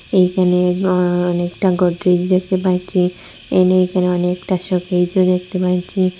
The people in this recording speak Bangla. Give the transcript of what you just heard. এখানে অ্যা অনেকটা গোদরেজ দেখতে পাচ্ছি এনি এখানে অনেকটা শোকেসও দেখতে পাচ্ছি।